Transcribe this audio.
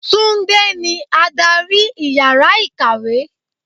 Túndé ní adárì ìyára ìkàwé.